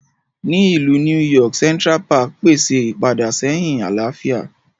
Ní Ilú New York, Central Park pèsè ipadaséhìn àlàáfíà.